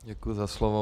Děkuji za slovo.